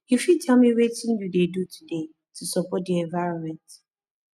you fit tell me wetin you dey do today to support di environment